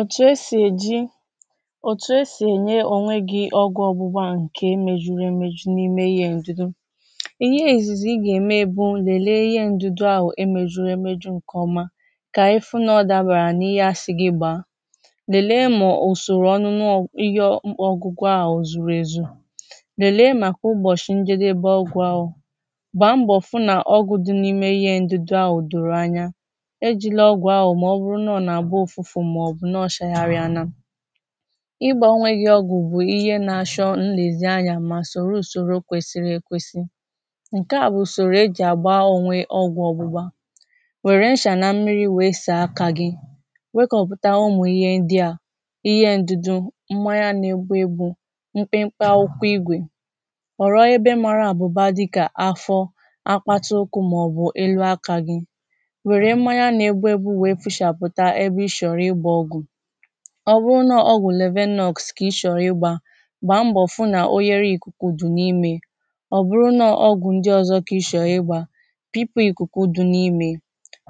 òtù esì èji òtù esì ènye ònwe gị ọgwụ ọgbụgba ǹke mejuru emeju n’ime ihe ǹdido. ihe èzìzì ị gà-ème bụ lèlee ihe ǹdụdụ ahụ̀ e mezùrụ emeju ǹkọ̀ọma kà ị fụ nà ọ dàbàrà n’ihe asị gị gbà. lèlee ma ùsòrò ọnụ n’ihe ọgwụgwụ ahụ̀ zùrù èzù lèlee màkà ụbọ̀chị̀ ǹjede ọgwụ̀ ahụ̀. Gbà mbọ̀ fụ nà ọgụ̀ dị n’ime ihe ǹdụdụ ahụ̀ dòrò anya. Ejila ọgwụ ahụ ma ọ bụrụ na ọ na agba ufufu ma na acha ghari. ịgbȧ onwe gi ọgwụ̇ bụ̀ ihe na-achọ nlezianya ma soro ùsoro kwesiri ekwesì. ǹke a bụ̀ ùsòrò ejì àgba onwe ọgwụ̇ ọgbụgbȧ. nwèrè nchà na mmiri wèe sàa akȧ gị̇. wekọ̇pụ̀ta umù ihe ndị à ihe ndụdụ mmanya nà-egbu ebu mpempe akwụkwọ igwè. Họrọ ebe mara àbụ̀ba dịkà afọ, akpata ụkwụ màọbụ̀ elu akȧ gị̇. Were mmanya na egbugbu hichàpụ̀ta ebe I chọrọ ịgba ọgwụ. ọbụrụ na ọgwụ̀ lebenogs kà ị chọ̀rọ̀ igbà gbàa mbọ̀ fụ nà ohere ikùkù dụ̀ n’imė. ọbụrụ na ọgwụ̀ ndị ọzọ kà ị shọ̀ọ igbà pipụ ìkùkù dụ̀ n’imė.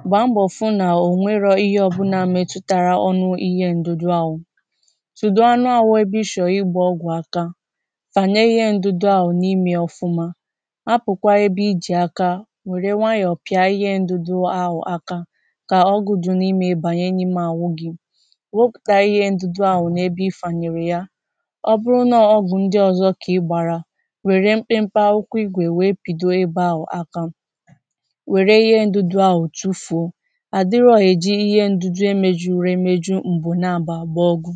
gbàa mbọ̀ fụ nà ònwerò ihe ọbụla metụtara ọnụ ihe ǹdudu ahụ̀ tùdùo anụ ahụ̇ ebe ị shọ̀ọ igbà ọgwụ̀ aka. fànyè ihe ǹdudu ahụ̀ n’ime ọfụma, hapụ̀kwà ebe i jì aka wèrè nwayọ̀ọ pịà ihe ǹdudu ahụ̀ aka, ka ọgwụ dị n'ime ya banye na ahụ gị. weputà ihe ndudu àhu̇ n’ebe ifànyèrè ya ọ bụrụ̀ nà ọgwu̇ ndị ọ̀zọ kà ị gbàrà ,wère mpempe akwụkwọ igwè wèe pìdò ebe ahu̇ aka. wère ihe ndudu àhu̇ tufùo à dịrọ̇ èji ihe ndudu emėju̇ru emeju m̀bụ̀ na-abà àgba ọgwu